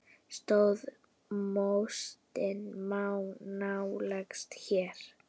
Stöðu mótsins má nálgast hérna.